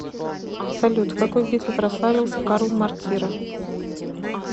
салют в какой битве прославился карл мортира